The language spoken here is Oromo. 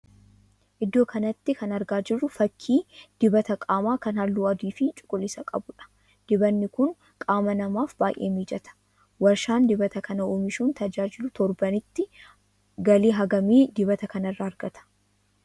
Iddoo kanatti kan argaa jirru fakkii dibata qaamaa kan halluu adii fi cuquliisa qabuudha. Dibatni kun qaama namaaf baay'ee mijata. Warshaan dibata kana oomishuun tajaajilu torbanitti galii hangamii dibata kana irraa argata?